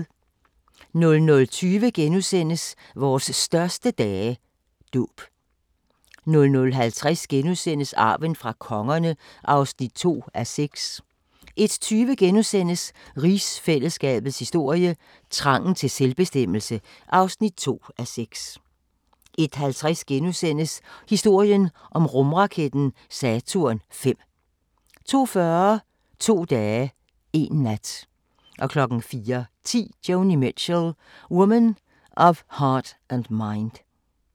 00:20: Vores største dage – Dåb * 00:50: Arven fra kongerne (2:6)* 01:20: Rigsfællesskabets historie: Trangen til selvbestemmelse (2:6)* 01:50: Historien om rumraketten Saturn V * 02:40: To dage, én nat 04:10: Joni Mitchell – Woman of Heart and Mind